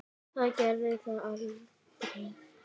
Það gerði það aldrei.